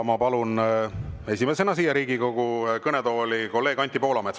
Ma palun esimesena siia Riigikogu kõnetooli kolleeg Anti Poolametsa.